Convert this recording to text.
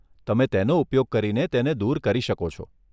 તમે તેનો ઉપયોગ કરીને તેને દૂર કરી શકો છો.